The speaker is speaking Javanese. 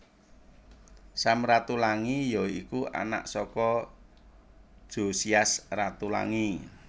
Sam Ratulangi ya iku anak saka Jozias Ratulangi